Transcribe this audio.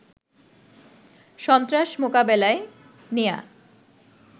সন্ত্রাস মোকাবেলায় নেয়া